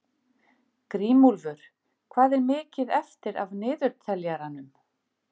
Grímúlfur, hvað er mikið eftir af niðurteljaranum?